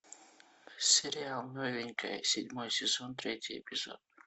сериал новенькая седьмой сезон третий эпизод